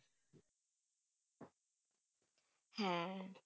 হ্যাঁ,